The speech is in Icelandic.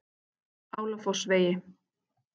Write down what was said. Álafossvegi